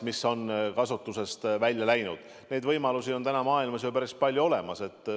Neid võimalusi on maailmas ju päris palju olemas.